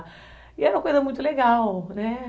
E era uma coisa muito legal, né?